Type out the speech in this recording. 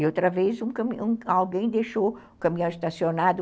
E outra vez alguém deixou o caminhão estacionado